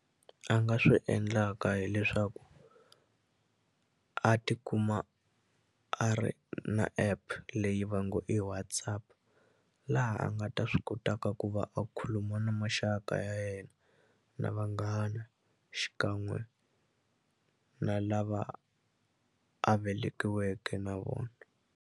A nga swi endlaka hileswaku a tikuma a ri na app leyi va ngo i WhatsApp laha a nga ta swi ko ta ka ku va a khuluma na maxaka ya yena na vanghana xikan'we na lava a velekiweke na vona.